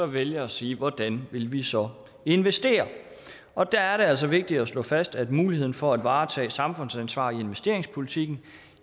vælge at sige hvordan vil vi så investere og der er det altså vigtigt at slå fast at muligheden for at varetage samfundsansvar i investeringspolitikken